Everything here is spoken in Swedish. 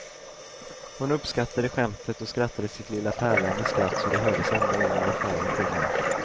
Hon uppskattade skämtet och skrattade sitt lilla pärlande skratt så det hördes ända in i affären till mig.